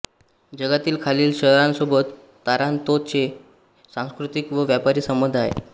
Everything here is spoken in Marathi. जगातील खालील शहरांसोबत तारांतोचे सांस्कृतिक व व्यापारी संबंध आहेत